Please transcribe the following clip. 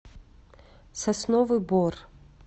сосновый бор